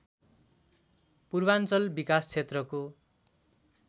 पूर्वाञ्चल विकासक्षेत्रको